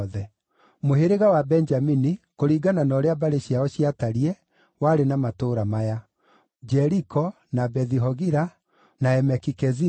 Mũhĩrĩga wa Benjamini, kũringana na ũrĩa mbarĩ ciao ciatariĩ, warĩ na matũũra maya: Jeriko, na Bethi-Hogila, na Emeki-Keziza,